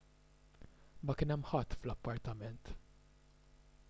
ma kien hemm ħadd fl-appartament